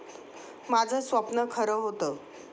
माझं स्वप्न खरं होतं.